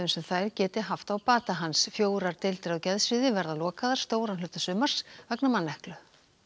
sem þær geti haft á bata hans fjórar deildir á geðsviði verða lokaðar stóran hluta sumars vegna manneklu